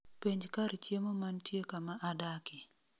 Penj kar chiemo mantie kama adakie